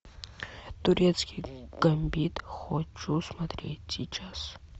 турецкий гамбит хочу смотреть сейчас